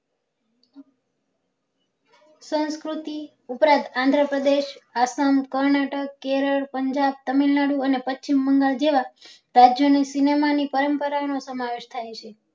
સંસ્કૃતિ ઉપરાંત આંધ્રપ્રદેશ આસામ કર્નાટક કેરલ પંજાબ તમિલનાડુ અને પશ્ચિમબંગાળ જેવા રાજ્યો ની cinema ની પરમ્પરા નો સમાવેશ થાય છે